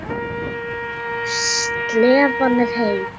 Slefan er heit.